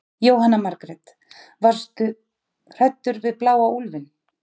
Jóhanna Margrét: Varst þú hræddur við bláa úlfinn?